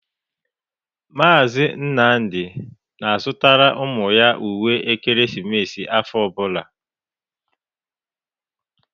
Mazị Nnamdị na-azụtara ụmụ ya uwe ekeresimesi afọ ọbụla.